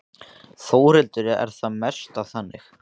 Þórhildur: Er það best þannig?